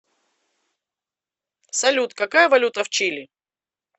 салют какая валюта в чили